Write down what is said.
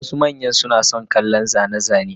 Wasu manya suna son kallon zane-zane,